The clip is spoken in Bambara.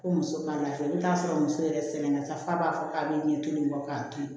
Ko muso ma se n'a sɔrɔ muso yɛrɛ sɛgɛn na sa f'a b'a fɔ k'a be ɲɛ toli in kɔ k'a to yen